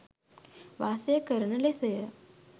වාසය කරන ලෙසය.